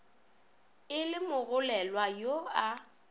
e le mogolelwa yo a